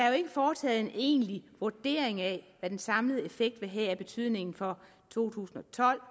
jo ikke foretaget en egentlig vurdering af hvad den samlede effekt vil have af betydning for to tusind og tolv